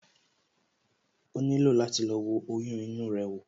O nílò láti lọ wo oyún inú rẹ wò